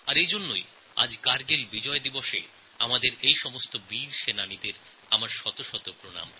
আর এজন্যই আজ কারগিল বিজয় দিবসএ আমাদের সৈন্যবাহিনীকে আমার শত শত প্রণাম